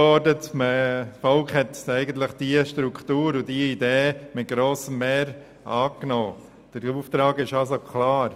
Das Volk hat Struktur und Idee der SARZ mit grossem Mehr angenommen, und damit ist der Auftrag klar.